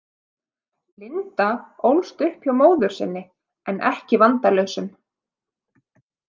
Linda ólst upp hjá móður sinni en ekki vandalausum.